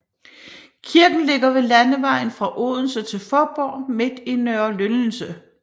Kirken ligger ved landevejen fra Odense til Fåborg midt i Nørre Lyndelse